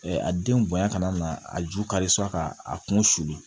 a denw bonya ka na a ju kari ka a kun sulu